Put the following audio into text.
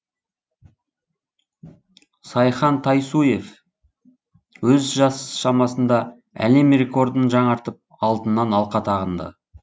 сайхан тайсуев өз жас шамасында әлем рекордын жаңартып алтыннан алқа тағынды